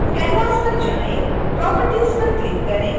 canvas पर जाएँ properties पर क्लिक करें